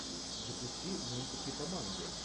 запусти мультики по манге